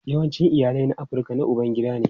Yawancin iyalai na Afirka na ubangida ne.